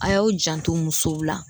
A y'aw janto musow la.